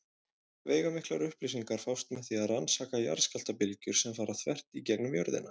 Veigamiklar upplýsingar fást með því að rannsaka jarðskjálftabylgjur sem fara þvert í gegnum jörðina.